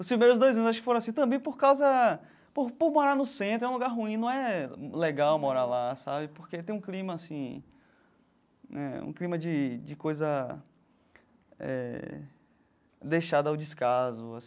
Os primeiros dois anos acho que foram assim também, por causa por por morar no centro é um lugar ruim, não é legal morar lá sabe, porque tem um clima assim né um clima de de coisa eh deixada ao descaso.